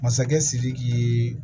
Masakɛ sidiki ye